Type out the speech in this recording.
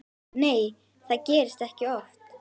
Nei það gerist ekki oft.